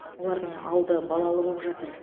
олардың алды балалы боп жатыр